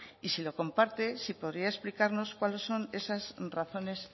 y si lo comparte si podría explicarnos cuáles son esas razones